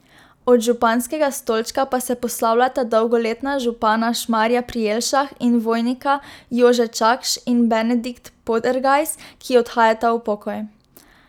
Od županskega stolčka pa se poslavljata dolgoletna župana Šmarja pri Jelšah in Vojnika Jože Čakš in Benedikt Podergajs, ki odhajata v pokoj.